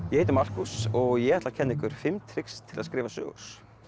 ég heiti Markús og ég ætla að kenna ykkur fimm trix til þess að skrifa sögur